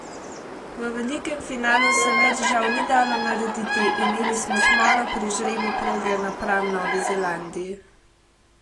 V velikem finalu se več žal ni dalo narediti, imeli smo smolo pri žrebu proge napram Novi Zelandiji.